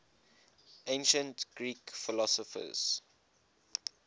ancient greek philosophers